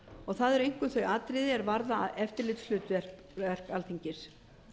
og það eru einkum þau atriði er varða eftirlitshlutverk alþingis